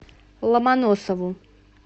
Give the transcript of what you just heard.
ломоносову